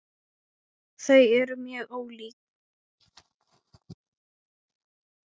Þau eru mjög ólík.